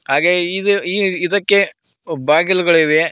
ಹಾಗೇ ಇದು ಈ ಇದಕ್ಕೆ ಆ ಬಾಗಿಲುಗಳಿವೆ.